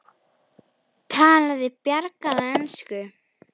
Talaði bjagaða ensku: